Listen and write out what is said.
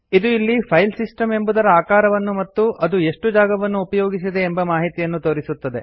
ಇದು ಇಲ್ಲಿ ಫೈಲ್ಸಿಸ್ಟಮ್ ಎಂಬುದರ ಆಕಾರವನ್ನು ಮತ್ತು ಅದು ಎಷ್ಟು ಜಾಗವನ್ನು ಉಪಯೋಗಿಸಿದೆ ಎಂಬ ಮಾಹಿತಿಯನ್ನು ತೋರಿಸುತ್ತದೆ